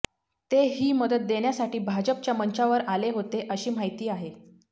ते ही मदत देण्यासाठी भाजपच्या मंचावर आले होते अशी माहिती आहे